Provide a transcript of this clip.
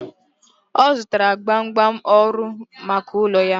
Ọ zụtara gbamgbam ọhụrụ maka ụlọ ya..